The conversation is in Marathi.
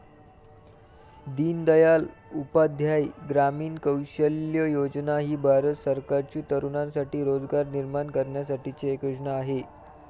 दीनदयाल उपाध्याय ग्रामीण कौशल्य योजना ही भारत सरकारची तरुणांसाठी रोजगार निर्माण करण्यासाठीची एक योजना आहे.